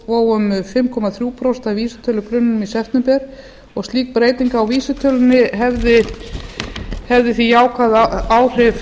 vó um fimm komma þrjú prósent af vísitölugrunninum í september slík breyting á vísitölunni hefði því jákvæð áhrif